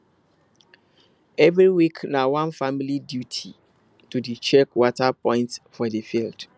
every week na one family duty to dey check water point for the field